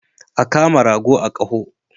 A kama rago a koho.